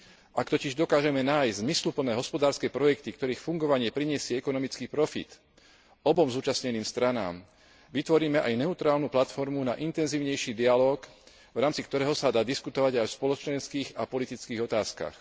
Ak totiž dokážeme nájsť zmysluplné hospodárske projekty, ktorých fungovanie prinesie ekonomický profit, obom zúčastneným stranám, vytvoríme aj neutrálnu platformu na intenzívnejší dialóg, v rámci ktorého sa dá diskutovať aj o spoločenských a politických otázkach.